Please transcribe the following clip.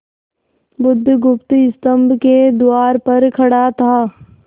बुधगुप्त स्तंभ के द्वार पर खड़ा था